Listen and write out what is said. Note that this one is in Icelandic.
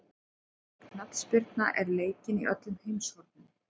Knattspyrna er leikin í öllum heimshornum.